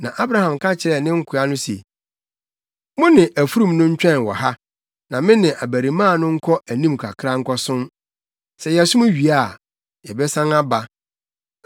Na Abraham ka kyerɛɛ ne nkoa no se, “Mo ne afurum no ntwɛn wɔ ha, na me ne abarimaa no nkɔ anim kakra nkɔsom. Sɛ yɛsom wie a, yɛbɛsan aba.”